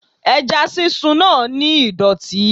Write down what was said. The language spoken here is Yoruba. Ẹja sísun náà ni ìdọ̀tí.